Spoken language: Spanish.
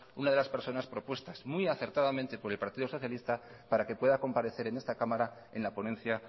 una de las personas propuestas muy acertadamente por el partido socialista para que pueda comparecer en esta cámara en la ponencia